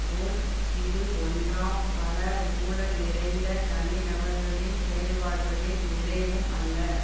போல் இது ஒன்றாம் பல ஊழல் நிறைந்த தனிநபர்களின் செயல்பாடுகளின் விளைவும் அல்ல